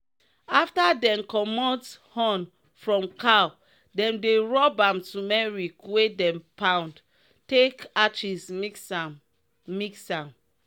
afta dem commot horn from cow dem dey rub am tumeric wey dem pound take aches mix am. mix am.